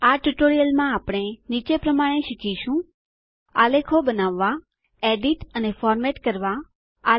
આ ટ્યુટોરીયલમાં આપણે નીચે પ્રમાણે શીખીશું આલેખો બનાવવા એડીટ સુધારણાઅને ફોર્મેટ દેખાવ બદ્દલ સુધારણા કરવા